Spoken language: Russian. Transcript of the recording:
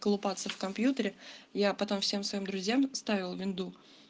колупаться в компьютере я потом всем своим друзьям ставила винду